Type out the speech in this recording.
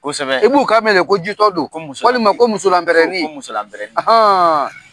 Kosɛbɛ i b'u kan mɛn de ko jitɔ do, walima ko musolamɛrɛni.